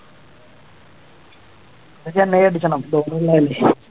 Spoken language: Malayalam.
ഇന്ന് ചെന്നൈ അടിക്കണം ധോണി ഒള്ളതല്ലേ